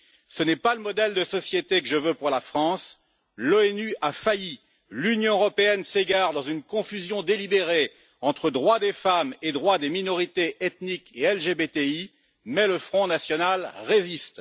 Ce n'est pas le modèle de société que je veux pour la France. L'ONU a failli, l'Union européenne s'égare dans une confusion délibérée entre droits des femmes et droits des minorités ethniques et LGBTI, mais le Front national résiste.